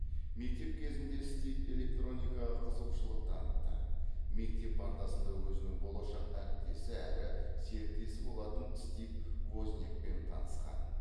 мектеп кезінде стив электроникаға қызығушылық танытты мектеп партасында өзінің болашақ әріптесі әрі серіктесі болатын стив вознякпен танысқан